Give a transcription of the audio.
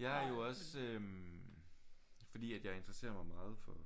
Jeg er jo også øh fordi at jeg interesserer mig meget for